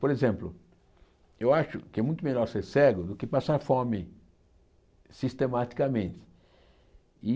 Por exemplo, eu acho que é muito melhor ser cego do que passar fome sistematicamente. E